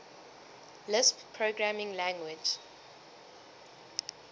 lisp programming language